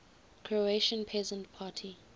croatian peasant party